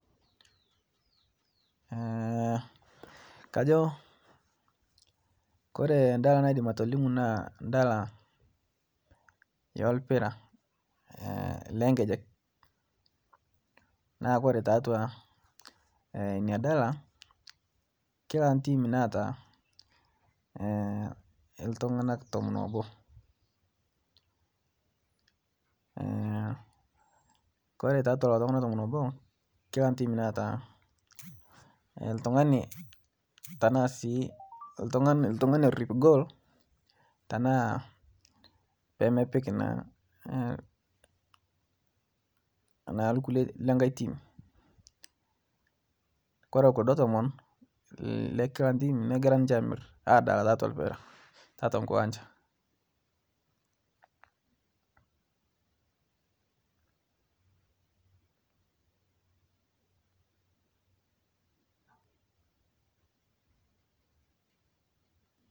kajo kore ndaa naidim atolimu naa ndala yolpiraa leenkejek naa kore taatua inia dala kila team neata ltunganak tomon oobo kore taatua lolo tugana tomon oboo kila team neata ltungani tanaa sii ltungani orip gool tanaa pemepik naa lkulie lenghai team kore kuldoo tomon lekila team neiguran ninshe amir adalaa taatua mpira taatua nkiwanja